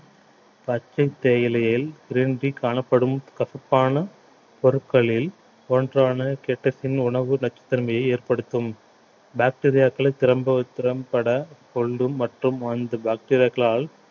பச்சை தேயிலையில் காணப்படும் கசப்பான பொருட்களில் ஒன்றான உணவு நச்சுத் தன்மையை ஏற்படுத்தும் bacteria க்களை திறம்பவச்~ திறம்பட கொண்டு மற்றும் அந்த bacteria களால்